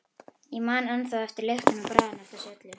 Ég man ennþá eftir lyktinni og bragðinu af þessu öllu.